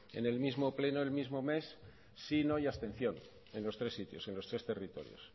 en el mismo pleno el mismo mes sí no y abstención en los tres sitios en los tres territorios